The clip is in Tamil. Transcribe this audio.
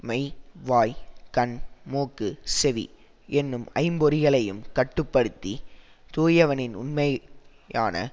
மெய் வாய் கண் மூக்கு செவி எனும் ஐம்பொறிகளையும் கட்டு படுத்தி தூயவனின் உண்மை யான